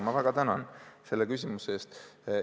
Ma väga tänan selle küsimuse eest!